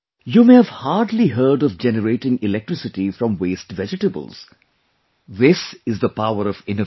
You may have hardly heard of generating electricity from waste vegetables this is the power of innovation